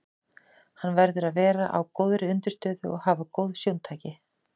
Hann verður að vera á góðri undirstöðu og hafa góð sjóntæki.